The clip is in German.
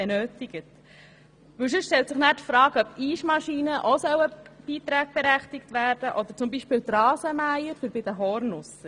Ansonsten stellt sich die Frage, ob Eismaschinen oder Rasenmäher für die Hornusser auch beitragsberechtigt sein sollten.